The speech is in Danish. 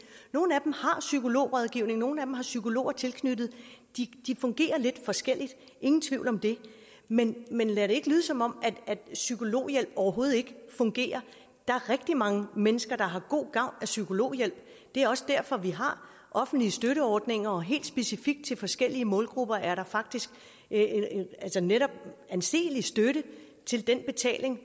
nogle af dem har psykologrådgivning nogle af dem har psykologer tilknyttet de fungerer lidt forskelligt ingen tvivl om det men men lad det ikke lyde som om psykologhjælp overhovedet ikke fungerer der er rigtig mange mennesker der har god gavn af psykologhjælp det er også derfor at vi har offentlige støtteordninger og helt specifikt til forskellige målgrupper er der faktisk netop anselig støtte til den betaling